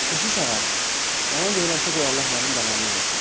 Keşiş ağa, yalan deyirəmsə qoy Allah mənim bəlamı versin.